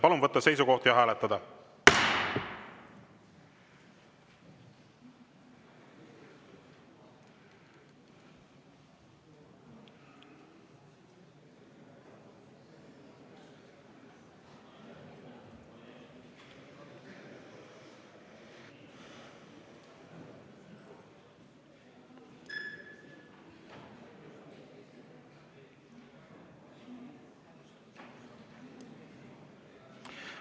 Palun võtta seisukoht ja hääletada!